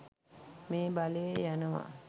මේ බලය යනවා.